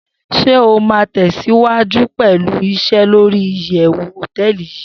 Shey o ma tesiwaju pelu ise lori iyewu hoteeli yii